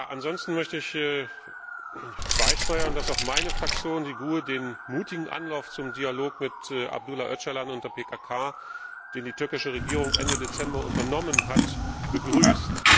Ansonsten möchte ich beisteuern, dass auch meine Fraktion, die GUE, den mutigen Anlauf zum Dialog mit Abdullah Öcalan und der PKK, den die türkische Regierung Ende Dezember unternommen hat, begrüßt.